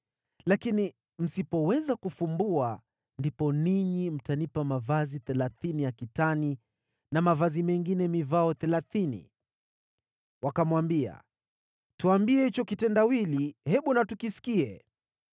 Lakini msipoweza kufumbua, ndipo ninyi mtanipa mavazi thelathini ya kitani na mavazi mengine mivao thelathini.” Wakamwambia, “Tuambie hicho kitendawili, hebu na tukisikie.”